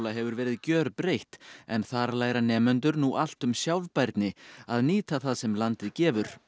hefur verið gjörbreytt en þar læra nemendur nú allt um sjálfbærni að nýta það sem landið gefur